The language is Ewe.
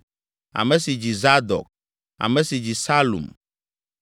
ame si dzi Zadok, ame si dzi Salum,